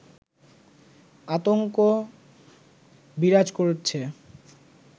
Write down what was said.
আতংক বিরাজ করছে